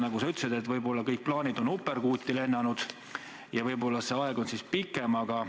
Nagu sa ütlesid, võib-olla on kõik plaanid uperkuuti lennanud ja võib-olla see aeg venib pikemaks.